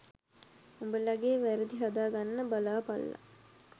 උඹලගෙ වැරදි හදා ගන්න බලාපල්ලා